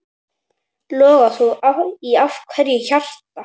Loga þú í hverju hjarta.